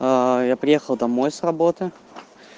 я приехал домой с работы